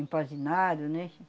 empanzinado, né?